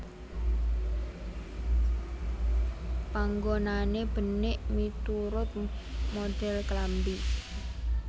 Panggonane benik miturut modhel klambi